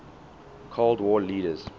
cold war leaders